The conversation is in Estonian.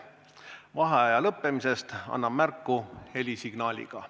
Vaheaja lõppemisest annan märku helisignaaliga.